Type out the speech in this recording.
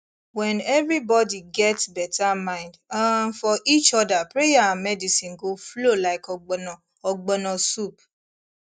when everybody get better mind um for each other prayer and medicine go flow like ogbono ogbono soup